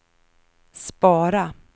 spara